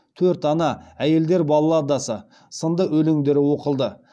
төрт ана әйелдер балладасы сынды өлеңдері оқылды